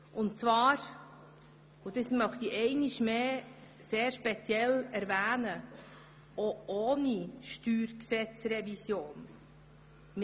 Ich möchte nochmals darauf hinweisen, dass dies auch ohne Steuergesetzrevision der Fall wäre.